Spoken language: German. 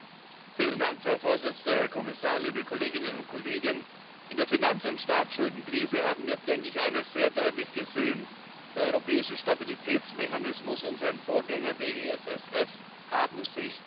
Frau Präsidentin, Herr Kommissar, liebe Kolleginnen und Kollegen! In der Finanz und Staatsschuldenkrise haben wir, denke ich, eines sehr deutlich gesehen Der Europäische Stabilitätsmechanismus und sein Vorgänger, der EFSF, haben sich bewährt.